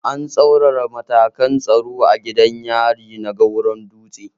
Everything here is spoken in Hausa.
An tsaurara matakan tsaro a gidan yari na Goran-dutse